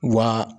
Wa